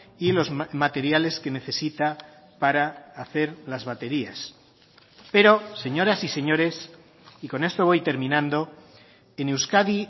y los materiales que necesita para hacer las baterías pero señoras y señores y con esto voy terminando en euskadi